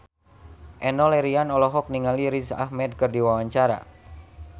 Enno Lerian olohok ningali Riz Ahmed keur diwawancara